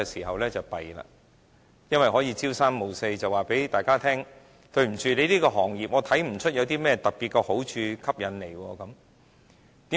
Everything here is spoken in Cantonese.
因為當局可以朝三暮四，告訴大家，對於某行業，它看不出有甚麼特別的好處和吸引力。